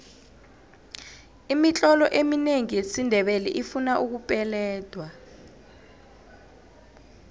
imitlolo eminengi yesindebele ifuna ukupeledwa